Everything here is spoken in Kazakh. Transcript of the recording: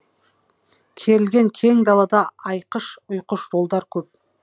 керілген кең далада айқыш ұйқыш жолдар көп